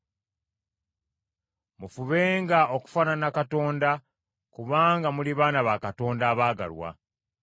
Mufubenga okufaanana Katonda kubanga muli baana ba Katonda abaagalwa.